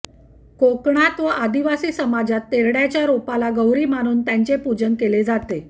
कोकणात व आदिवासी समाजात तेरड्याच्या रोपाला गौरी मानून त्यांचे पूजन केले जाते